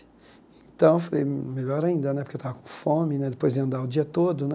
Então, eu falei, melhor ainda né, porque eu estava com fome né, depois ia andar o dia todo né.